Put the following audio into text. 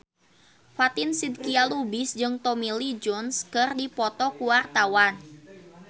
Fatin Shidqia Lubis jeung Tommy Lee Jones keur dipoto ku wartawan